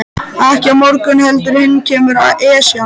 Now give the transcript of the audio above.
Ekki á morgun heldur hinn kemur Esjan.